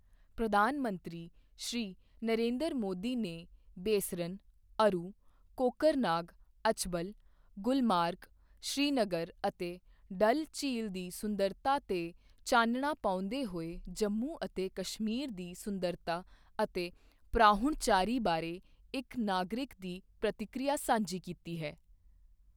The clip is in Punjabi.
ਪ੍ਰਧਾਨ ਮੰਤਰੀ, ਸ਼੍ਰੀ ਨਰਿੰਦਰ ਮੋਦੀ ਨੇ ਬੈਸਰਨ, ਅਰੂ, ਕੋਕਰਨਾਗ, ਅਛਬਲ, ਗੁਲਮਰਗ, ਸ੍ਰੀਨਗਰ ਅਤੇ ਡੱਲ ਝੀਲ ਦੀ ਸੁੰਦਰਤਾ ਤੇ ਚਾਨਣਾ ਪਾਉਂਦੇ ਹੋਏ ਜੰਮੂ ਅਤੇ ਕਸ਼ਮੀਰ ਦੀ ਸੁੰਦਰਤਾ ਅਤੇ ਪ੍ਰਾਹੁਣਚਾਰੀ ਬਾਰੇ ਇੱਕ ਨਾਗਰਿਕ ਦੀ ਪ੍ਰਤੀਕਿਰਿਆ ਸਾਂਝੀ ਕੀਤੀ ਹੈ।